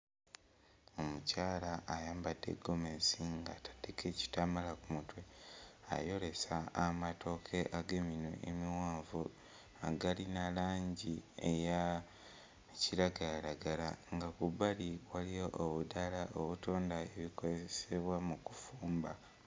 Omukyala ayambadde ggomesi ng'ataddeko ekitambaala ku mutwe ayolesa amatooke ag'eminwe emiwanvu agalina langi eya kiragalalagala nga ku bbali waliyo obutaala obutunda ebikozebwa mu kufumba.